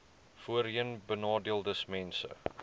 voorheenbenadeeldesmense